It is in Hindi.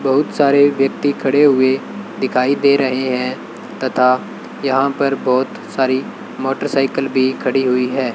बहुत सारे व्यक्ति खड़े हुए दिखाई दे रहे है तथा यहां पर बहोत सारी मोटरसाइकिल भी खड़ी हुई है।